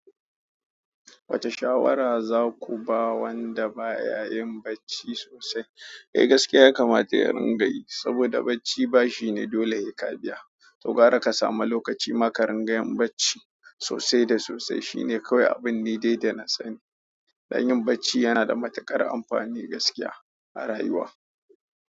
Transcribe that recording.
Wace shawara zaku ba wanda baya yin bacci sosai. Eh gaskiya ya kamata ya ringa yi saboda bacci bashi ne dole he ka biya. To gara ka samu lokaci ma ka ringa yin bacci sosai da sosai shine kawai abun ni dai da na sani. Don yin bacci yana da matuƙar amfani gaskiya a rayuwa.